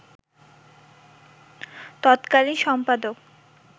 তৎকালীন সম্পাদক